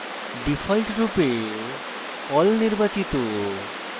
ডিফল্টরূপে all নির্বাচিত